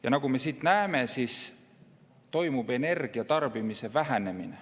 Ja nagu me siit näeme, energia tarbimine väheneb.